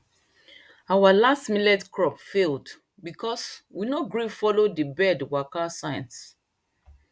our last millet crop failed because we no gree follow the bird waka signs